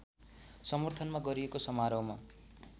समर्थनमा गरिएको समारोहमा